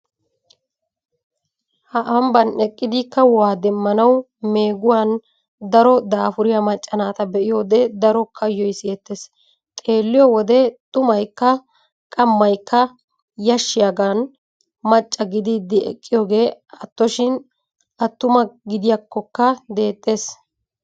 Ha Ambban eqqidi kahuwa demmanawu meeguwan daro daafuriya macca naata be'iyode daro kayoy sitettees. Xeelliyo wode xumaykka qammaykka yashshiyagan macca gididi eqqiyogee attoshin attuma gidiyakkokka deexxees.